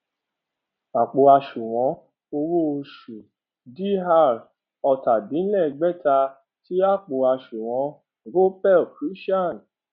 àpò àṣùwọn owó oṣù dr ọtàdínlẹẹdẹgbẹta sí àpò àṣùwọn gopal krishan